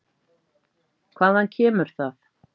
Hvaðan kemur það?